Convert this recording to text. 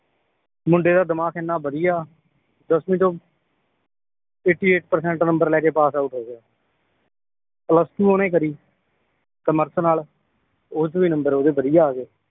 ਮੁੰਡੇ ਦਾ ਦਿਮਾਗ ਇਹਨਾਂ ਬਧਿਆ ਦੱਸਵੀਂ ਚੋਂ eighty eight ਪਰਸੈਂਟ ਨੰਬਰ ਲੈਕੇ ਪਾਸ ਆਉਟ ਹੋ ਗਿਆ plus two ਓਹਨੇ ਕਰੀ ਕਮਰਸ ਨਾਲ ਓਚ ਵੀ ਨੰਬਰ ਓਹਦੇ ਬਧਿਆ ਆਗੇ